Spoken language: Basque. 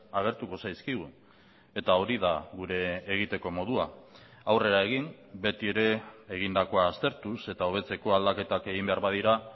agertuko zaizkigu eta hori da gure egiteko modua aurrera egin beti ere egindakoa aztertuz eta hobetzeko aldaketak egin behar badira